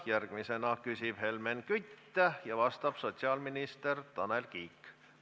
Järgmisena küsib Helmen Kütt ja vastab sotsiaalminister Tanel Kiik.